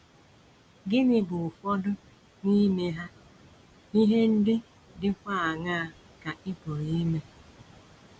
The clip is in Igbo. Gịnị bụ ụfọdụ n’ime ha, ihe ndị dịkwa aṅaa ka ị pụrụ ime?